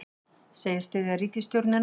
Segist styðja ríkisstjórnina